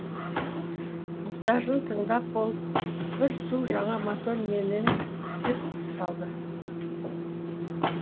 мұқтажын тыңдап болып бір су жаңа мотор менен деп салды